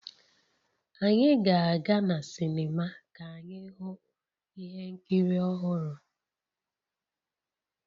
Anyị ga-aga na sinima ka anyị hụ ihe nkiri ọhụrụ